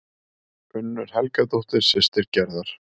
Unnur Helgadóttir, systir Gerðar.